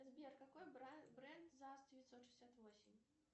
сбер какой бренд за девятьсот шестьдесят восемь